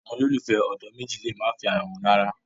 Awọn ololufẹ ọdọ meji le ma fẹ ara wọn rara